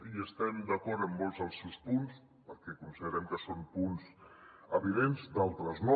hi estem d’acord en molts dels seus punts perquè considerem que són punts evidents d’altres no